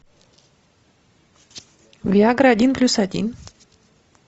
виагра один плюс один